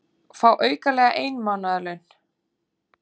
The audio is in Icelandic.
Fá aukalega ein mánaðarlaun